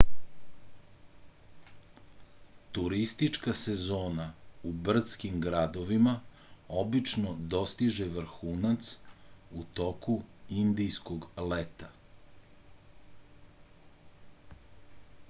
turistička sezona u brdskim gradovima obično dostiže vrhunac u toku indijskog leta